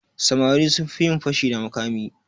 Samari sun fi yin fashi da makami.